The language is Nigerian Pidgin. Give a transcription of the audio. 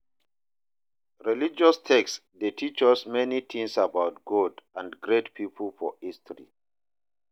Religious text de teach us many things about God and great pipo for history